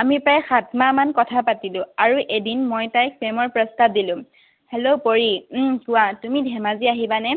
আমি প্ৰায় সাত মাহমান কথা পাতিলো। আৰু এদিন মই তাইক প্ৰেমৰ প্ৰস্তাৱ দিলো। Hello, পৰী। উম কোৱা। তুমি ধেমাজি আহিবানে?